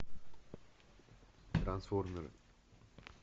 трансформеры